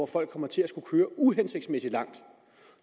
folk kommer til at skulle køre uhensigtsmæssig langt